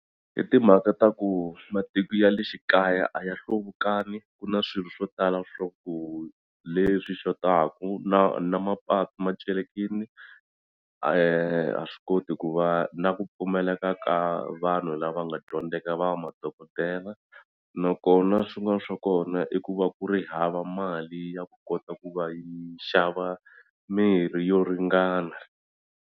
I timhaka ta ku matiko ya le xikaya a ya hluvukangi ku na swilo swo tala swa ku leswi xotaku na na mapatu ma celekini a swi koti ku va na ku pfumeleka ka vanhu lava nga dyondzeka va madokodela nakona swin'wani swa kona i ku va ku ri hava mali ya ku kota ku va yi xava mirhi yo ringana.